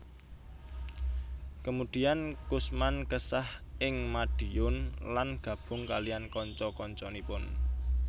Kemudian Kusman kesah ing Madiun lan gabung kaliyan kanca kancanipun